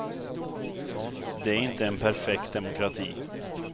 Det är inte en perfekt demokrati.